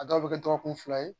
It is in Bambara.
A dɔw bɛ kɛ dɔgɔkun fila ye